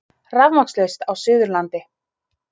Rafmagnslaust á Suðurlandi